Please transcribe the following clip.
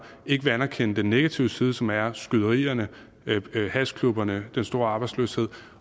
ikke vil anerkende den negative side som er skyderierne hashklubberne den store arbejdsløshed